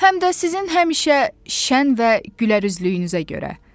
Həm də sizin həmişə şən və gülərüzlüyünüzə görə.